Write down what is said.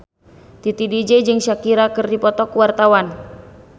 Titi DJ jeung Shakira keur dipoto ku wartawan